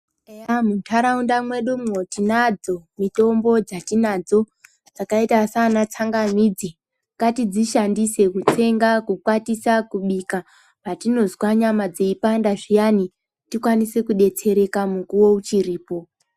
Eya muntaraunda mwedumwo tinadzo mitombo dzatinadzo dzakaita saana tsangamidzi ngatidzishandise kutsenga, kukwatisa, kubika, patinozwa nyama dzeipanda zviyani tikwanise kudetsereka mukuwo uchiripo.